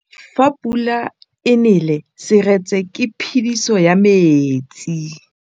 Fa pula e nelê serêtsê ke phêdisô ya metsi.